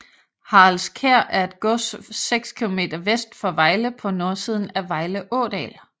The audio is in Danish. Haraldskær er et gods 6 km vest for Vejle på nordsiden af Vejle Ådal